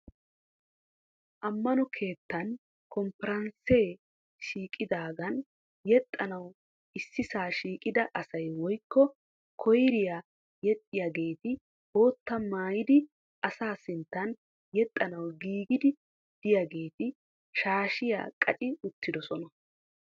Amano keettan kompparansee shiiqidaagan yexxanawu issisaa shiiqida asay woykko koyriya yexxiyaageeti boottaa maayidi asaa sinttan yexxanawu giigiidi diyaageeti shaashshiya qacci uttidosona.